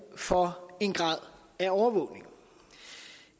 for en grad af overvågning